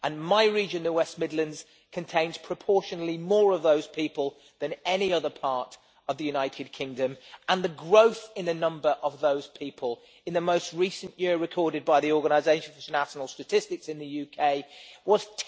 My region, the West Midlands, contains proportionally more of those people than any other part of the United Kingdom, and the growth in the number of those people in the most recent year recorded by the UK's Office for National Statistics was